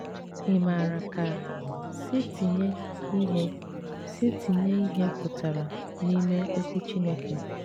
Ị maara ka ‘ si tinye ihe si tinye ihe pụtara n'ime ’okwu Chineke